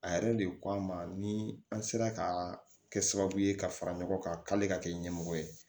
A yɛrɛ de ko an ma ni an sera ka kɛ sababu ye ka fara ɲɔgɔn kan k'ale ka kɛ ɲɛmɔgɔ ye